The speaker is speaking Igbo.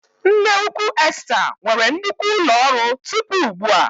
Nneukwu Esta nwere nnukwu ụlọ ọrụ tupu ugbu a.